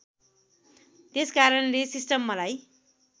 त्यसकारणले सिस्टम मलाई